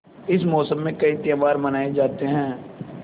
इस मौसम में कई त्यौहार मनाये जाते हैं